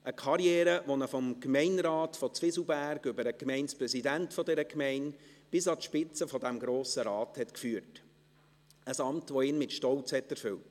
Eine Karriere, die ihn vom Gemeinderat von Zwieselberg über den Gemeindepräsidenten dieser Gemeinde bis an die Spitze dieses Grossen Rates führte, ein Amt, welches ihn mit Stolz erfüllte.